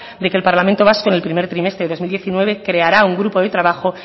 de que el parlamento vasco en el primer trimestre del dos mil diecinueve creará un grupo de trabajo